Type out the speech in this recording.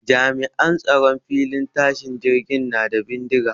Jami'an tsaron filin tashin jirgin na da bindiga